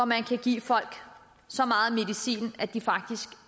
man kan give folk så meget medicin at de faktisk